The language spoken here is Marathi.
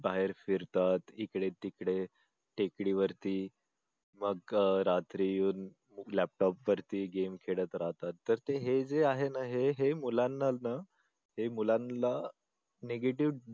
बाहेर फिरतात इकडे तिकडे टेकडीवरती मग रात्री येऊन laptop वरती game खेळत राहतात तर हे जे आहे ना हे मुलांनाना हे मुलांना negative